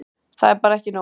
Það er bara ekki nóg.